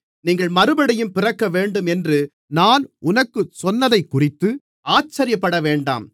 நீங்கள் மறுபடியும் பிறக்க வேண்டும் என்று நான் உனக்குச் சொன்னதைக்குறித்து ஆச்சரியப்படவேண்டாம்